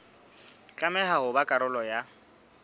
tlameha ho ba karolo ya